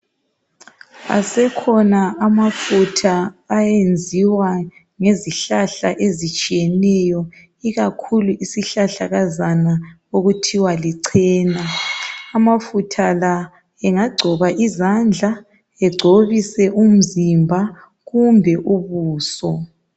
Asekhona amafutha ayenziwa ngezihlahla ezitshiyeneyo ikakhulu isihlahla kazana okuthiwa licena amafutha lawa engagciba uzandla egcobise umzimba kumbe ubuso